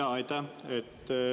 Jaa, aitäh!